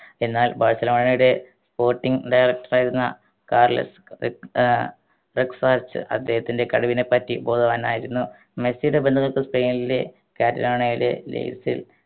എന്നാൽ ബാഴ്‌സലോണയുടെ spotting director ആയിരുന്ന കാർലസ് ക് ഏർ അദ്ദേഹത്തിൻറെ കഴിവിനെപ്പറ്റി ബോധവാനായിരുന്നു മെസ്സിയുടെ സ്പെയിൻലെ കാറ്റലോണയിലെ